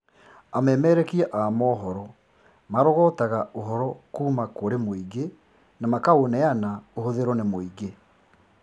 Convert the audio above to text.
Amemerekia a mohoro marõgõtaga ūhoro kūūma kūri mūīngi na makaūneana ūhūthīrīõ nī mūīngī